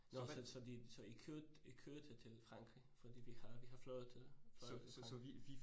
Så så så de så I kørte I kørte til Frankrig fordi vi har vi har fløjet til Frankrig